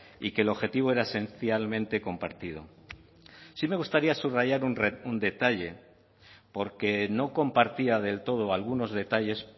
y que el objetivo era esencialmente compartido sí me gustaría subrayar un detalle porque no compartía del todo algunos detalles